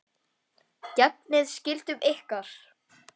Gegnið skyldum ykkar!